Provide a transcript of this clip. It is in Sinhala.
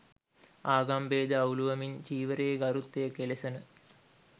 ආගම් බේද අවුලුවමින් චීවරයේ ගරුත්වය කෙලෙසන